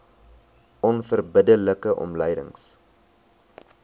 onverbidde like omlynings